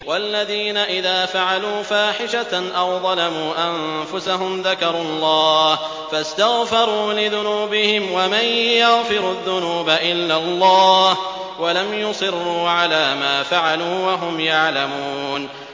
وَالَّذِينَ إِذَا فَعَلُوا فَاحِشَةً أَوْ ظَلَمُوا أَنفُسَهُمْ ذَكَرُوا اللَّهَ فَاسْتَغْفَرُوا لِذُنُوبِهِمْ وَمَن يَغْفِرُ الذُّنُوبَ إِلَّا اللَّهُ وَلَمْ يُصِرُّوا عَلَىٰ مَا فَعَلُوا وَهُمْ يَعْلَمُونَ